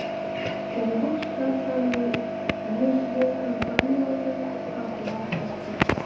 холдинг штат саны мен еншілес компанияларды қысқартуға көшті